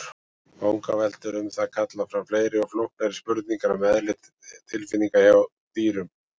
Vangaveltur um það kalla fram fleiri og flóknari spurningar um eðli tilfinninga hjá dýrum.